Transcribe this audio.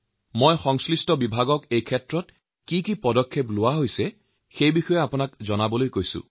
মই সংশ্লিষ্ট বিভাগক এই বিষয়ে আপোনাক যাৱতীয় তথ্য জনোৱাৰ বাবে আহ্বান জনাইছো